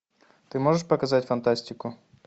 ты можешь показать фантастику